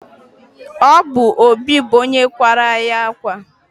obụ obi bụ onye kwàrá anyị akwa